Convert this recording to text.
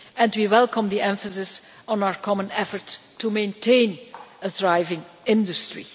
We welcome the emphasis on our common effort to maintain a thriving industry.